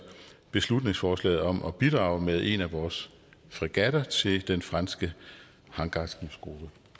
beslutningsforslaget om at bidrage med en af vores fregatter til den franske hangarskibsgruppe